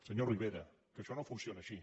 senyor rivera que això no funciona així